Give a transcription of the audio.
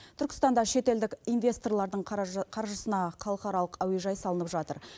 түркістанда шетелдік инвесторлардың қаржысына халықаралық әуежай салынып жатыр